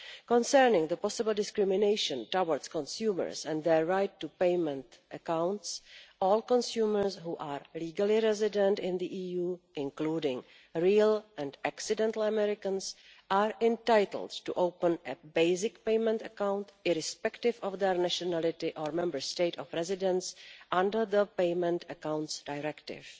Concerning the possible discrimination towards consumers and their right to payment accounts, all consumers who are legally resident in the EU, including real and accidental Americans, are entitled to open a basic payment account, irrespective of their nationality or Member State of residence, under the Payment Accounts Directive.